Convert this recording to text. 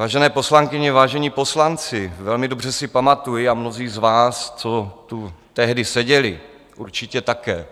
Vážené poslankyně, vážení poslanci, velmi dobře si pamatuji, a mnozí z vás, co tu tehdy seděli, určitě také,